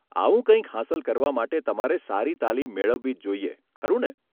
આવું કંઈક હાંસલ કરવા માટે તમારે સારી તાલીમ મેળવવી જ જોઇએ, ખરું ને?